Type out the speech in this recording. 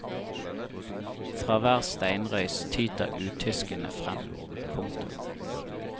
Fra hver steinrøys tyter utyskene frem. punktum